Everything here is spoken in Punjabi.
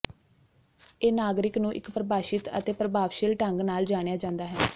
ਇਹ ਨਾਗਰਿਕ ਨੂੰ ਇੱਕ ਪਰਿਭਾਸ਼ਿਤ ਅਤੇ ਪ੍ਰਭਾਵਸ਼ੀਲ ਢੰਗ ਨਾਲ ਜਾਣਿਆ ਜਾਂਦਾ ਹੈ